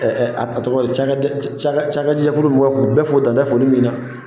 ɛ ɛ a tɔgɔ ye di cakajɛfuru mɔgɔ k'u bɛ'o dan da foli min na